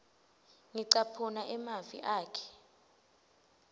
ngicaphuna emavi akhe